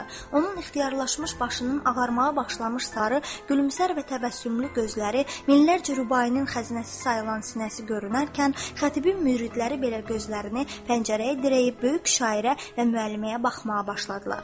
Onun ixtiyarlaşmış başının ağarmağa başlamış sarı, gülümsər və təbəssümlü gözləri, minlərcə rübainin xəzinəsi sayılan sinəsi görünərkən, xətibin müridləri belə gözlərini pəncərəyə dirəyib böyük şairə və müəlliməyə baxmağa başladılar.